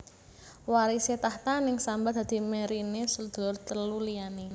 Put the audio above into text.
Warisé takhta neng Samba dadi mèriné sedulur telu liyané